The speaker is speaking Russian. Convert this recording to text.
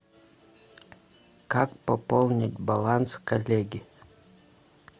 как пополнить баланс коллеге